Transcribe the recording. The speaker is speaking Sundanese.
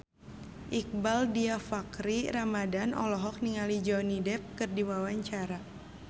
Iqbaal Dhiafakhri Ramadhan olohok ningali Johnny Depp keur diwawancara